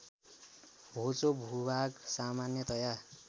होचो भूभाग सामान्यतया